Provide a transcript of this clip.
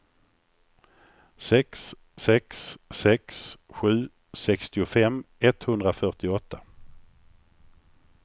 sex sex sex sju sextiofem etthundrafyrtioåtta